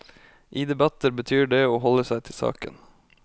I debatter betyr det å holde seg til saken.